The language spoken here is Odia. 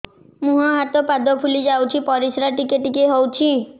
ମୁହଁ ହାତ ପାଦ ଫୁଲି ଯାଉଛି ପରିସ୍ରା ଟିକେ ଟିକେ ହଉଛି